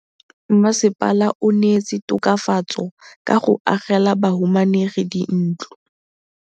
Mmasepala o neetse tokafatsô ka go agela bahumanegi dintlo.